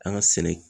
An ka sɛnɛ